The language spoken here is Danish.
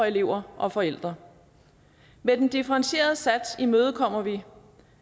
elever og forældre med den differentierede sats imødekommer vi